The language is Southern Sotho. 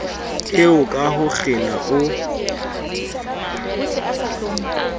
eo ka ho kgena o